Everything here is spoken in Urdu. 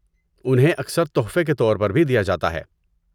انہیں اکثر تحفے کے طور پر بھی دیا جاتا ہے۔